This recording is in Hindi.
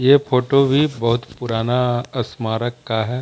ये फोटो भी बहुत पुराना स्मारक का है।